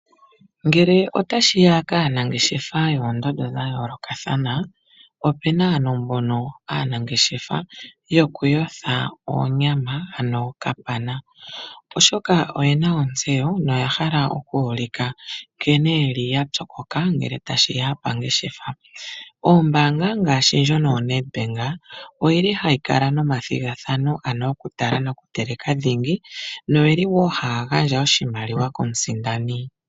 Ngele ota shiya kaanangeshefa yoondondo dha yoolokathana, opu na ano mbono aanangeshefa yoku yotha oonyama, ano okapana. Oshoka oye na ontseyo noya hala oku ulika nkene yeli ya pyokoka ngele tashi ya oongeshefa. Oombaanga ngaashi ndjono yoNEDBANK oyili hayi kala nomathigathano, ano oku tala nokuteleka dhingi noyili wo hayi gandja oshimaliwa komusindani.